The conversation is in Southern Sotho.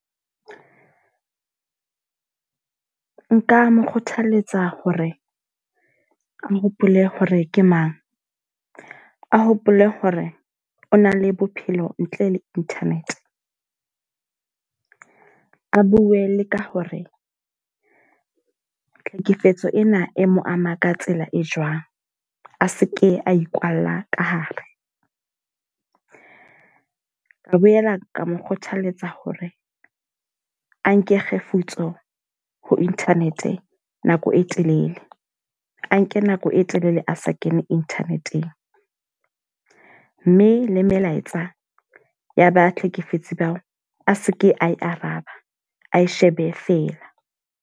Nka mo kgothaletsa hore a hopole hore ke mang. A hopole hore o na le bophelo ntle le internet. A bue le ka hore tlhekefetso ena e mo ama ka tsela e jwang. A seke a ikwalla ka hare. Ka boela ka mo kgothaletsa hore a nke kgefutso ho internet nako e telele. A nke nako e telele a sa kene internet-eng. Mme le melaetsa ya ba hlekefetse bao, a seke a e araba, a e shebe feela.